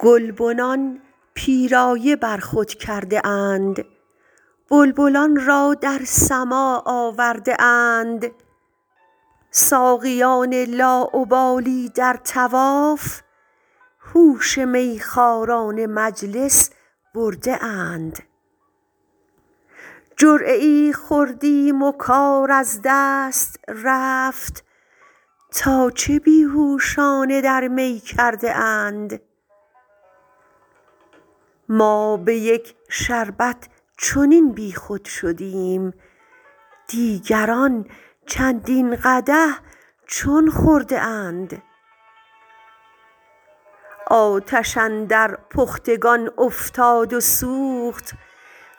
گلبنان پیرایه بر خود کرده اند بلبلان را در سماع آورده اند ساقیان لاابالی در طواف هوش میخواران مجلس برده اند جرعه ای خوردیم و کار از دست رفت تا چه بی هوشانه در می کرده اند ما به یک شربت چنین بیخود شدیم دیگران چندین قدح چون خورده اند آتش اندر پختگان افتاد و سوخت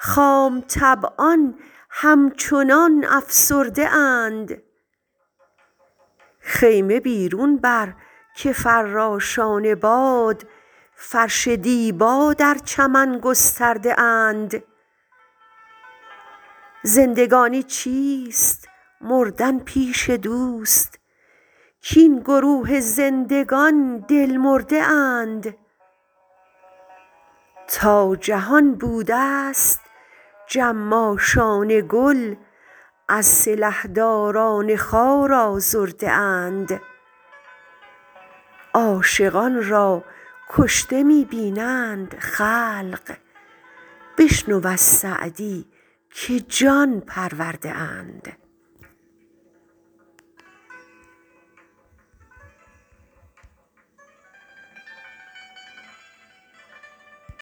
خام طبعان همچنان افسرده اند خیمه بیرون بر که فراشان باد فرش دیبا در چمن گسترده اند زندگانی چیست مردن پیش دوست کاین گروه زندگان دل مرده اند تا جهان بودست جماشان گل از سلحداران خار آزرده اند عاشقان را کشته می بینند خلق بشنو از سعدی که جان پرورده اند